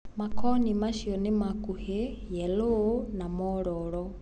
Makoni macio nĩmakuhĩ ,yeloo na mororo.